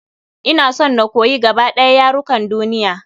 Ina son na koyi gaba ɗaya yarukan duniya.